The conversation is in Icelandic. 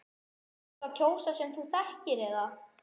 Ertu að kjósa fólk sem þú þekkir eða?